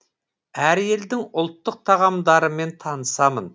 әр елдің ұлттық тағамдарымен танысамын